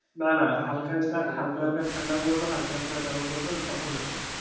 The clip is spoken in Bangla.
না না হালকা হালকা গরম পড়বে তখন যাবো,